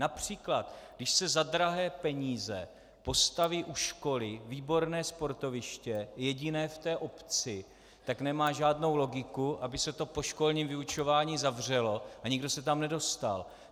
Například když se za drahé peníze postaví u školy výborné sportoviště, jediné v té obci, tak nemá žádnou logiku, aby se to po školním vyučování zavřelo a nikdo se tam nedostal.